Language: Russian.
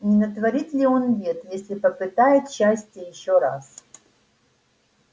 не натворит ли он бед если попытает счастья ещё раз